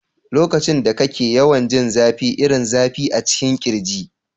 Lokacin da kake yawan jin zafi irin zafi a cikin kirji.